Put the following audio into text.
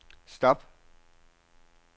stop